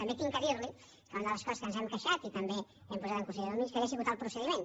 també haig de dir li que una de les coses de què ens hem queixat i també hem posat en consideració del ministeri ha sigut el procediment